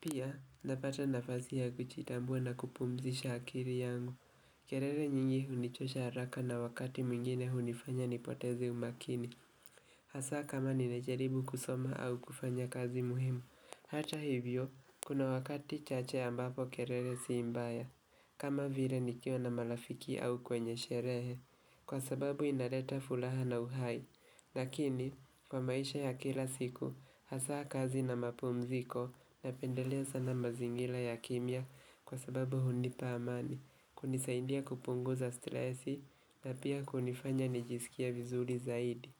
Pia, napata nafasi ya kujiitambua na kupumzisha akiri yangu. Kerele nyingi hunichosha haraka na wakati mwingine hunifanya nipoteze umakini. Hasa kama nimejaribu kusoma au kufanya kazi muhimu. Hata hivyo, kuna wakati chache ambapo kerere si mbaya. Kama vire nikiwa na marafiki au kwenye sherehe. Kwa sababu inareta fulaha na uhai. Lakini, kwa maisha ya kila siku, hasaa kazi na mapumziko napendelea sana mazingila ya kimya kwa sababu hunipa amani. Kunisaindia kupunguza stresi na pia kunifanya nijisikie vizuri zaidi.